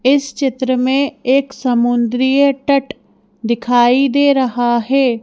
इस चित्र में एक समुद्रीय टट दिखाई दे रहा है।